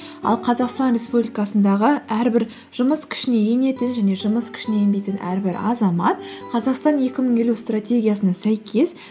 ал қазақстан республикасындағы әрбір жұмыс күшіне енетін және жұмыс күшіне енбейтін әрбір азамат қазақстан екі мың елу стратегиясына сәйкес